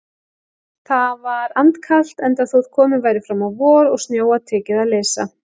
Það var andkalt, enda þótt komið væri fram á vor og snjóa tekið að leysa.